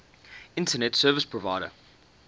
internet service provider